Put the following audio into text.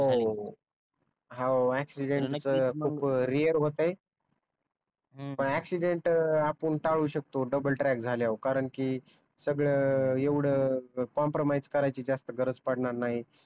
ह हो याक्शिदेंट पण खूप रेअर होत आहेत पण याक्शिदेंट आपण टाळू शकतो तो डबल ट्रॅक झाल्यावर कारण कि सगळ एवढ कॉम्प्रमाइज करायची जास्त गरज पडणार नाही